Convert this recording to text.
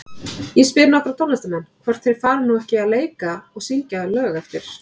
Ég spyr nokkra tónlistarmenn, hvort þeir fari nú ekki að leika og syngja lög eftir